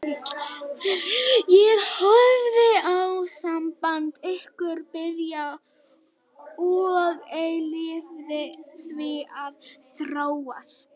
Ég horfði á samband ykkar byrja og ég leyfði því að þróast.